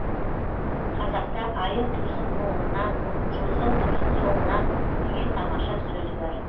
қазақта айың тусын оңынан жұлдызың тусын соңынан деген тамаша сөз бар